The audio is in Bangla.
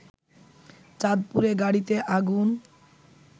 চাঁদপুরে গাড়িতে আগুন